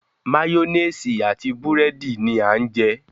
Máyónésì àti búrẹ́dì ni à ń jẹ.